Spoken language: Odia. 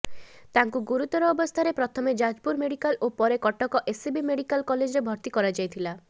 ତାଙ୍କୁ ଗୁରୁତର ଅବସ୍ଥାରେ ପ୍ରଥମେ ଯାଜପୁର ମେଡିକାଲ ଓ ପରେ କଟକ ଏସସିବି ମେଡିକାଲ କଲେଜରେ ଭର୍ତି କରାଯାଇଥିଲା